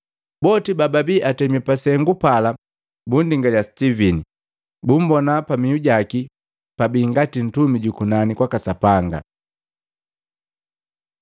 Boti bababii atemi pa sengu pala bundingalya Sitivini, bumbonaa pamiu jaki pabii ngati ntumi juku nani kwaka Sapanga.